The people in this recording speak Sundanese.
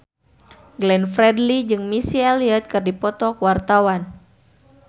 Glenn Fredly jeung Missy Elliott keur dipoto ku wartawan